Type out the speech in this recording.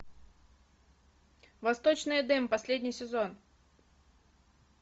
восточный эдем последний сезон